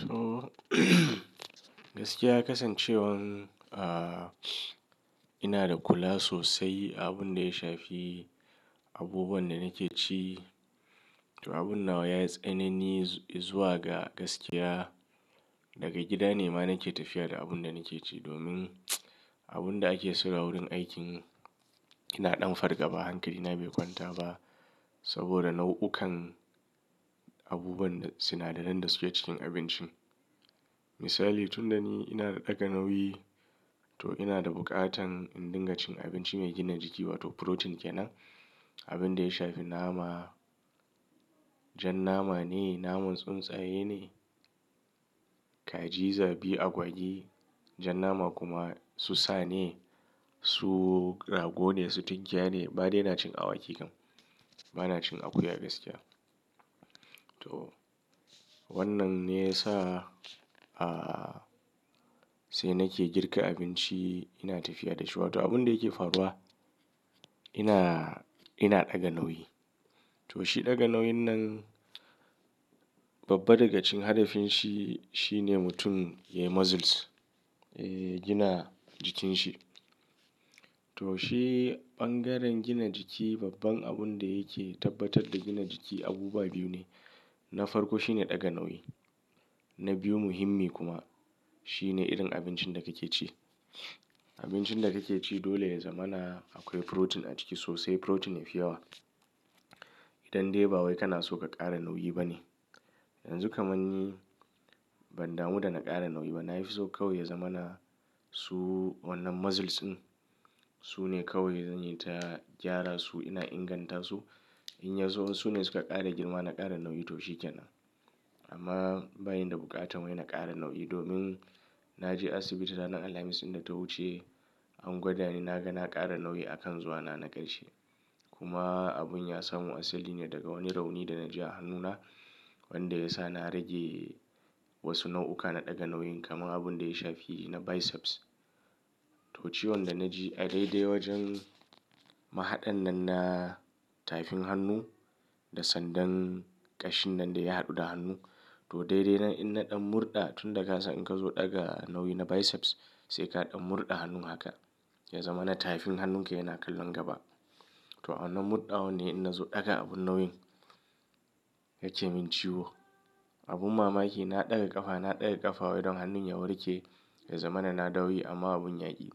To, gaskiya kasancewar, aah, ina da kula sosai abin da ya shafi abubuwan da nake ci. To abun nan ya yi tsanani zuwa ga gaskiya. Daga gida ne ma nake tafiya da abun da nake ci domin abun da ake so a wurin aikin ina ɗan farga ba hankali, bai kwanta ba saboda nau'ukan abubuwan da sinadaran da suke cikin abincin. Misali, tun da ni ina da ɗaga nauyi to ina da buƙatan in dinga cin abinci mai gina jiki wato protein kenan. Abin da ya shafi nama, jan nama ne, naman tsuntsaye ne, kaji, zabi, agwagi. Jan nama kuma su sa ne, su rago ne, su tunkiya ne. Badai na cin awaki kam, ba na cin akuya gaskiya. To wannan ne ya sa, ah, sai nake girka abinci ina tafiya da shi wato abun da yake faruwa ina, ina ɗaga nauyi. To shi ɗaga nauyin nan babba daga cikin hadafinshi shine mutum ya yi muscles, ya gina jikin shi. To shi bangaren gina jiki babban abun da yake tabbatar da gina jiki abubuwa biyu ne. Na farko shine ɗaga nauyi, na biyu muhimmi kuma shine irin abincin da kake ci. Abincin da kake ci dole ya zama na akwai protein a ciki sosai protein yafi yawa. Idan dai ba wai kana so ka ƙara nauyi bane. Yanzu kamar ni ban damu da na ƙara nauyi ba. Na yi so kawai ya zama na su wannan muscles ɗin su ne kawai zan yi ta gyara su ina inganta su. In ya zo su ne suka ƙara girma na ƙara nauyi to shi kenan. Amma bayi da buƙata wai na ƙara nauyi domin na je asibiti ranar Alhamis ɗin da ta wuce an gwada ni na ga na ƙara nauyi a kan zuwa na na ƙarshe. Kuma abun ya samu asali ne daga wani rauni da na ji a hannuna wanda ya sa na rage wasu nau'uka na ɗaga nauyin kamar abin da ya shafi na biceps. To ciwon da na ji a daidai wajen mahaɗan nan na tafin hannu da sandan ƙashin nan da ya haɗu da hannu. To daidai ina ɗan murɗa tun da ka san in ka zo ɗaga nauyi na biceps sai ka ɗan murɗa hannun haka ya zama na tafin hannun ka yana kallon gaba. To wannan murɗa wannan ina zo ɗaga abun nauyin yake min ciwo. Abun mamaki na ɗaga ƙafa, na ɗaga ƙafa wai don hannun ya warke ya zama na na dauyi amma abun ya ƙi.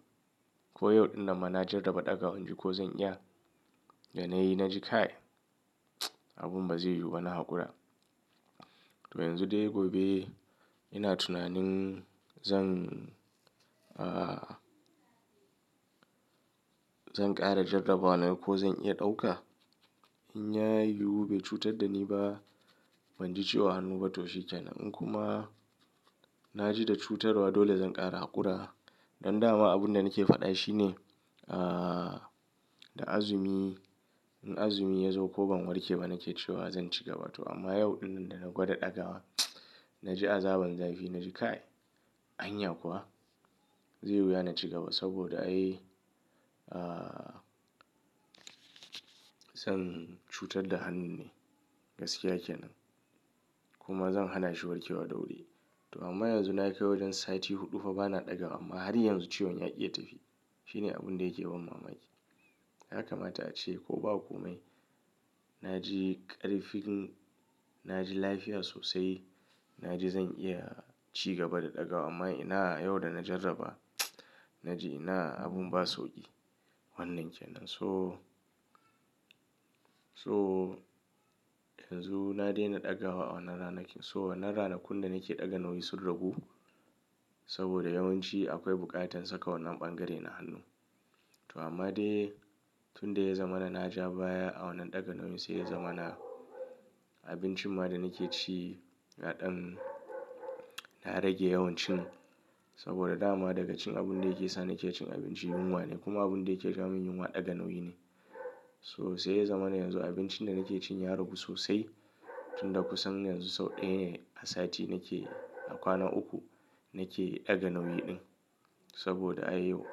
Ko yau ɗin nan ma na jarraba ɗaga hanji ko zan iya da na yi na ji kai abun ba zai yiwu ba na haƙura. To yanzu dai gobe ina tunanin zan, aah, zan ƙara jarraba wannan ko zan iya ɗauka. In ya yiwu bai cutar da ni ba ban ji ciwo a hannu ba to shi kenan. In kuma na ji da cutarwa dole zan ƙara haƙura. Don dama abun da nake faɗa shi ne, aah, da azumi, in azumi ya zo ko ban warke ba nake cewa zan ci gaba to amma yau ɗin nan da na gwada ɗaga na ji azaba zan fi na ji kai. Hanya kuwa zai wuya na ci gaba saboda ai, aah, zan cutar da hannun ne gaskiya kenan. Kuma zan hana shi warke wa da wuri. To amma yanzu na kai wajen sa'a huɗu fa ba na ɗaga ba amma har yanzu ciwon yaƙi ya tafi. Shi ne abun da yake ban mamaki. Yaka ma ta ce ko ba komai na ji ƙarfin, na ji lafiya sosai. Na ji zan iya ci gaba da ɗaga amma ina yau da na jarraba na ji ina abun ba sauƙi wannan kenan. So, so yanzu na daina ɗaga wa a wannan ranakin. So wannan ranakun da nake ɗaga nauyi sun ragu saboda yawanci akwai buƙatar saka wannan ɓangaren na hannu. To amma dai tun da ya zama na na ja baya a wannan ɗaga nauyin sai ya zama na abincin ma da nake ci kaɗan na rage yawancin saboda dama daga cikin abun da yake sa nake cin abinci yunwa ne kuma abun da yake sa mun yunwa ɗaga nauyi ne. So sai ya zama na yanzu abincin da nake cin ya ragu sosai tun da kusan yanzu sau ɗaya ne a sa'a nake a kwana uku nake ɗaga nauyi ɗin saboda ai yau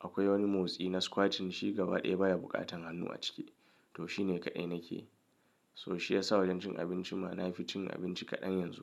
akwai wani motsi na squatting shi gaba ɗaya baya buƙatan hannu a ciki to shi ne kaɗai nakeyi. So shi ya sa wajen cin abinci ma na fi cin abinci kaɗan yanzu.